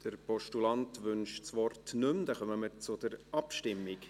Der Postulant wünscht das Wort nicht mehr, dann kommen wir zur Abstimmung.